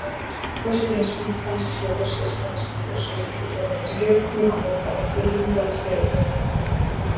residents fit ask for cost estimate before surgery um to get quick um and affordable healthcare um